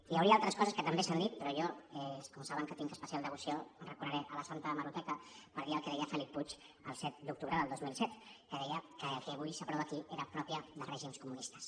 hi hauria altres coses que també s’han dit però jo com saben tinc especial devoció recorreré a la santa hemeroteca per dir el que deia felip puig el set d’octubre del dos mil set que deia que el que avui s’aprova aquí era propi de règims comunistes